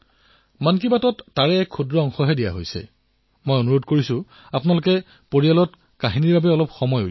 এতিয়া মন কী বাতত তেওঁলোকৰ কথাবাৰ্তাৰ এক ক্ষুদ্ৰ অংশ আপোনালোকৰ সন্মুখত প্ৰস্তুত কৰিছো